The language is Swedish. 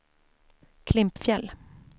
Klimpfjäll